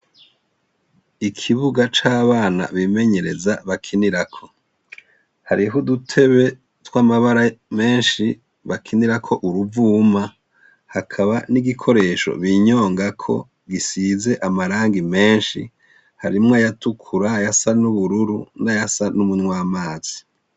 Ikibuga c'abana bimenyereza bakinirako. Hariho udutebe tw'amabara menshi bakinirako uruvuma, hakaba n'igikoresho binyongako gisize amarangi menshi, harimwo ayatukura, ayasa n'ubururu n'ayasa n'umunwamazi.